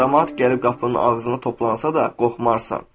Camaat gəlib qapının ağzına toplansa da, qorxmazsan.